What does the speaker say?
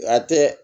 A tɛ